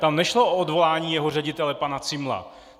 Tam nešlo o odvolání jeho ředitele pana Zimmela.